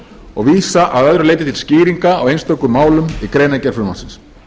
og vísa að öðru leyti til skýringa á einstökum málum í greinargerð frumvarpsins